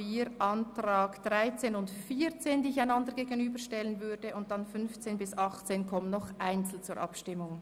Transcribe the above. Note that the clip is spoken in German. Die Anträge 13 und 14 stelle ich wieder einander gegenüber, und die Anträge 15 bis 18 kommen einzeln zur Abstimmung.